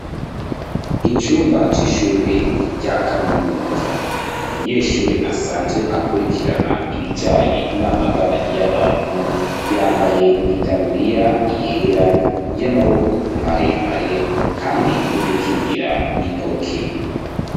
Icumba c'ishure rya kaminuza, umunyeshure asanzwe akurikirana ibijanye n'amagara y'abantu yambaye itaburia yera y'amaboko maremare hamwe n'udukingira intoke.